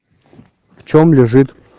в чем лежит